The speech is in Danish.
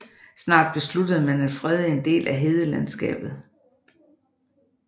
Snart besluttede man at frede en del af hedelandskabet